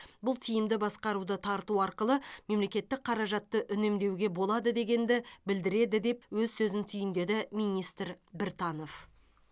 бұл тиімді басқаруды тарту арқылы мемлекеттік қаражатты үнемдеуге болады дегенді білдіреді деп өз сөзін түйіндеді министр біртанов